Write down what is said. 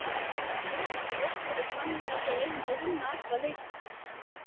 Hugarfar okkar er þannig að við eigum að vinna alla leiki.